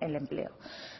el empleo